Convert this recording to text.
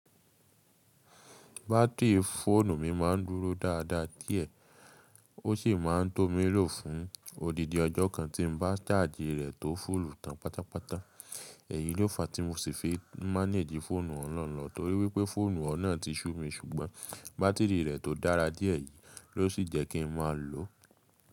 Batiri fóònù mi máà ń dúró dáadáa díẹ̀ ó ṣì máa ń tó mí lò fún odindi ọjọ́ kan tí n bá charge rẹ tó full tán pátápátá. Èyí ló fa tí mo sì fi maánejì fọ́ònù ọ̀hun na lo torí wípé fóònù ọun nà ti sú mi ṣùgbọ́n bátìrì rẹ̀ tó dára díẹ̀ yìí ló sì jẹ́kí n máa lòó.